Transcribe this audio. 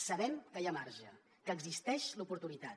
sabem que hi ha marge que existeix l’oportunitat